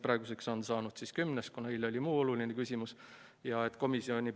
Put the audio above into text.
Praeguseks on sellest saanud 10. märts, kuna eile oli meil siin päevakorras muu oluline küsimus.